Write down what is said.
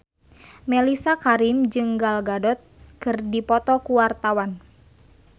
Mellisa Karim jeung Gal Gadot keur dipoto ku wartawan